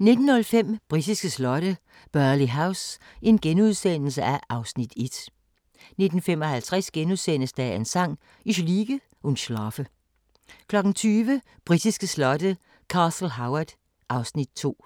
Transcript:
19:05: Britiske slotte: Burghley House (Afs. 1)* 19:55: Dagens Sang: Ich liege und schlafe * 20:00: Britiske slotte: Castle Howard (Afs. 2)